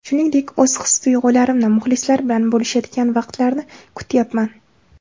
Shuningdek, o‘z his-tuyg‘ularimni muxlislar bilan bo‘lishadigan vaqtlarni kutyapman”.